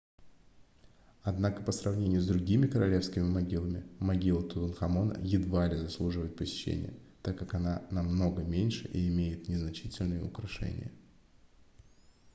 однако по сравнению с другими королевскими могилами могила тутанхамона едва ли заслуживает посещения так как она намного меньше и имеет незначительные украшения